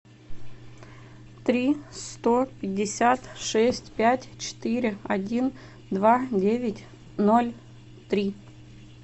три сто пятьдесят шесть пять четыре один два девять ноль три